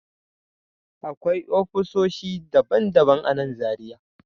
Akwai ofisoshi daban-daban a nan Zariya